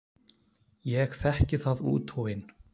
Ég þekki það út og inn.